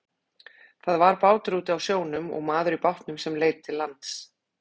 Það var bátur úti á sjónum og maður í bátnum sem leit til lands.